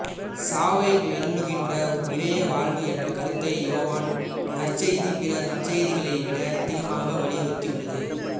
சாவை வெல்லுகின்ற நிறை வாழ்வு என்ற கருத்தை யோவான் நற்செய்தி பிற நற்செய்திகளைவிட அதிகமாக வலியுறுத்தியுள்ளது